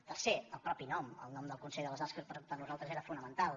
tercer el mateix nom el nom del consell de les arts que per nosaltres era fonamental